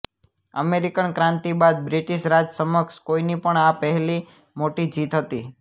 American ક્રાંતિ બાદ British Raj સમક્ષ કોઈની પણ આ પહેલી મોટી જીત હતી